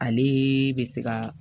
Ale bɛ se ka